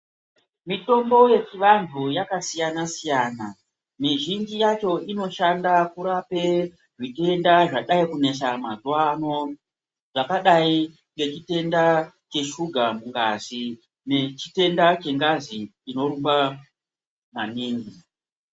Mitombo yechivantu yakasiyana siyana mizhinji yacho inoshanda kurapa zvitenda zvinoshanda zvakadai nechitenda cheshuga ngazi nechitenda chengazi chinorumba maningi.